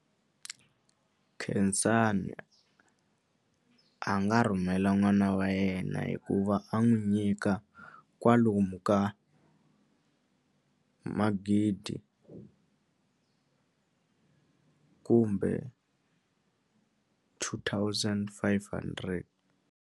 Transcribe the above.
Khensani a nga rhumela n'wana wa yena hikuva a n'wi nyika kwalomu ka magidi kumbe two thousand five hundred.